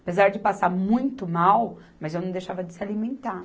Apesar de passar muito mal, mas eu não deixava de se alimentar.